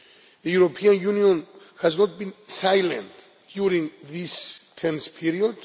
The European Union has not been silent during this tense period.